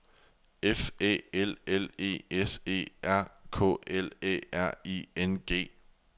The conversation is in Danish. F Æ L L E S E R K L Æ R I N G